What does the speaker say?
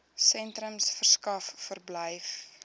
sentrums verskaf verblyf